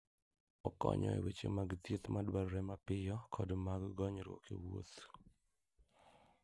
Okonyo e weche mag thieth madwarore mapiyo kod mag gonyruok e wuoth.